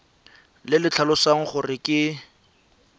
le le tlhalosang gore ke